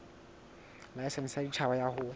laesense ya boditjhaba ya ho